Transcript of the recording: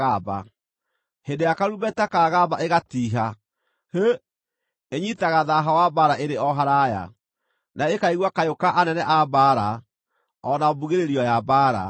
Hĩndĩ ĩrĩa karumbeta kagamba ĩgatiiha, ‘Hĩ!’ Ĩnyiitaga thaaha wa mbaara ĩrĩ o haraaya, na ĩkaigua kayũ ka anene a mbaara, o na mbugĩrĩrio ya mbaara.